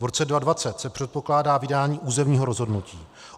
V roce 2020 se předpokládá vydání územního rozhodnutí.